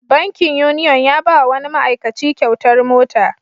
Bankin Union ya ba wa wani ma'aikaci kyautar mota.